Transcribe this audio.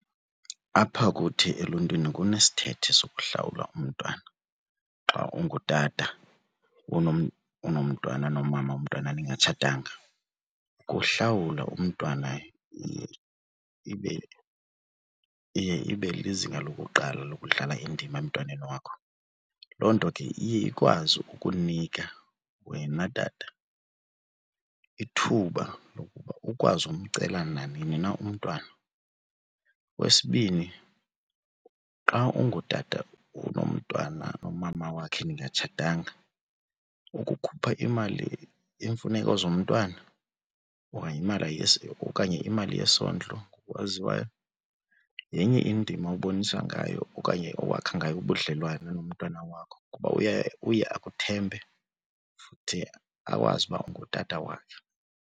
Apha kuthi eluntwini kunesithethe sokuhlawula umntwana xa ungutata unomntwana nomama womntwana ningatshatanga. Ukuhlawula umntwana ibe, iye ibe lizinga lokuqala lokudlala indima emntwaneni wakho. Loo nto ke iye ikwazi ukunika wena tata ithuba lokuba ukwazi ukumcela nanini na umntwana. Okwesibini xa ungutata unomntwana nomama wakhe ningatshatanga ukukhupha imali yeemfuneko zomntwana okanye imali yesondlo owaziwayo, yenye indima obonisa ngayo okanye owakha ngayo ubudlelwane nomntana wakho kuba uye akuthembe futhi akwazi uba ungutata wakhe.